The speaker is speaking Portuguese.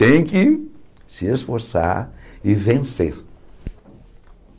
Tem que se esforçar e vencer.